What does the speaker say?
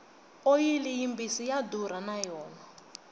oyili yi mbisi ya durha na yona